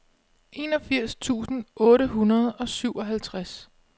enogfirs tusind otte hundrede og syvoghalvtreds